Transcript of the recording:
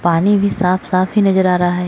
पानी भी साफ-साफ ही नजर आ रहा है।